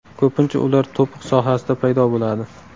Ko‘pincha ular to‘piq sohasida paydo bo‘ladi.